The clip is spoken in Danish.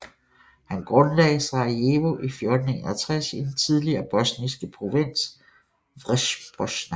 Han grundlagde Sarajevo i 1461 i den tidligere bosniske provins Vrhbosna